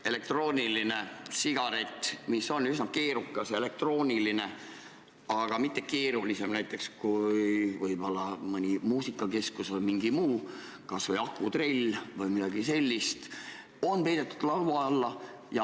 Elektrooniline sigaret, mis on üsna keerukas ja elektrooniline, aga mitte keerulisem kui näiteks võib-olla mõni muusikakeskus või mingi muu seade, kas või akutrell või midagi sellist, on peidetud laua alla.